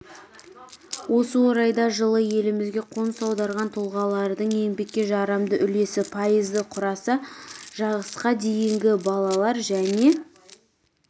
осы орайда жылы елімізге қоныс аударған тұлғалардың еңбекке жарамды үлесі пайызды құраса жасқа дейінгі балалар және